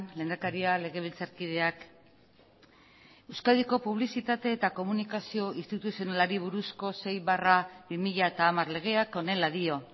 lehendakaria legebiltzarkideak euskadiko publizitate eta komunikazio instituzionalari buruzko sei barra bi mila hamar legeak honela dio